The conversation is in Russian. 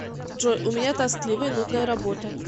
джой у меня тоскливая и нудная работа